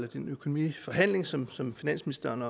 den økonomiforhandling som som finansministeren